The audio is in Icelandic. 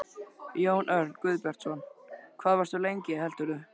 Jón Örn Guðbjartsson: Hvað varstu lengi heldurðu?